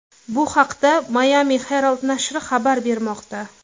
Bu haqda Miami Herald nashri xabar bermoqda .